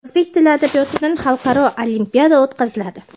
O‘zbek tili va adabiyotdan Xalqaro olimpiada o‘tkaziladi.